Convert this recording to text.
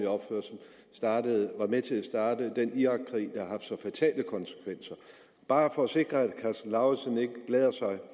opførsel var med til at starte den irakkrig der har så fatale konsekvenser bare for at sikre at herre karsten lauritzen ikke glæder sig